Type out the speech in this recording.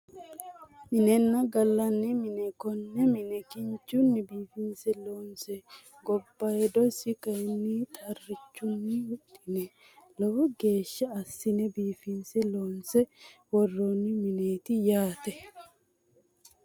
Minenna gallanni mine konne mine kinchunni biifinse loonse gobbaydosi kayinni xarrichunni huxxine lowo geeshsha assine biifinse loonse worroonni mineeti yaate